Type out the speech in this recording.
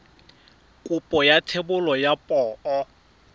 kopo ya thebolo ya poo